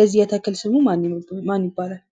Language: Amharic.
የዚህ ተክል ስሙ ምን ይባላል?